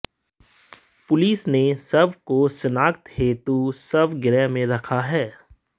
police ने शव को शिनाख्त हेतु शव गृह में रखा है